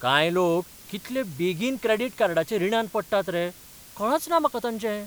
कांय लोक कितले बेगीन क्रॅडिट कार्डाच्या रिणांत पडटात रे, कळचना म्हाका तांचें.